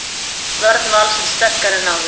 Vörn Vals sterkari en áður